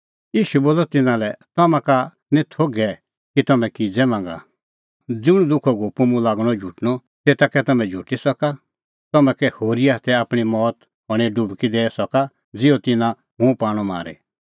ईशू बोलअ तिन्नां लै तम्हां का निं थोघै कि तम्हैं किज़ै मांगा ज़ुंण दुखो कटोरअ मुंह लागणअ झुटणअ तेता कै तम्हैं झुटी सका तम्हां कै होरीए हाथै आपणीं मौत हणें डुबकी दैई सका ज़िहअ तिन्नां हुंह पाणअ मारी